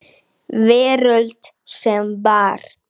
Veröld sem var.